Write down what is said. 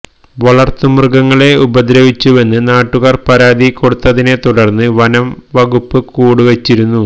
വളര്ത്തുമൃഗങ്ങളെ ഉപദ്രവിച്ചുവെന്ന് നാട്ടുകാര് പരാതി കൊടുത്തതിനെത്തുടര്ന്ന് വനം വകുപ്പ് കൂട് വെച്ചിരുന്നു